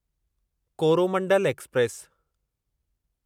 Coromandel express